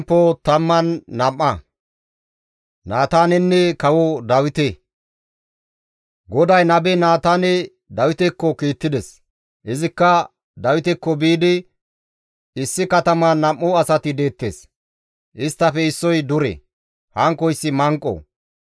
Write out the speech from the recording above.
GODAY nabe Naataane Dawitekko kiittides; izikka Dawitekko biidi, «Issi kataman nam7u asati deettes; isttafe issoy dure; hankkoyssi manqo.